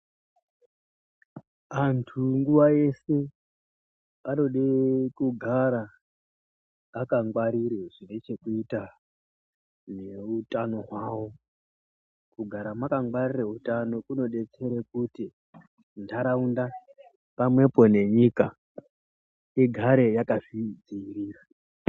Antu nguwayese vanode kugara vakangwarire zvinechekuita neutano hwavo kugara mwakangwarira utano kunodetsere kuti nharaunda pamwepo nenyika igare yakazvidziirira.